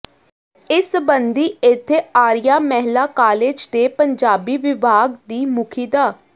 ਇਸ ਸਬੰਧੀ ਇੱਥੇ ਆਰੀਆ ਮਹਿਲਾ ਕਾਲਜ ਦੇ ਪੰਜਾਬੀ ਵਿਭਾਗ ਦੀ ਮੁਖੀ ਡਾ